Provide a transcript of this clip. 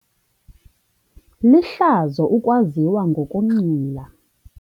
Lihlazo ukwaziwa ngokunxila.